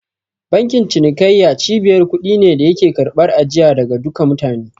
Bankin cinikayya cibiyar kuɗi ne da yake karɓar ajiya daga duka mutane.